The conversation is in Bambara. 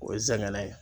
O ye zɛngɛnɛ ye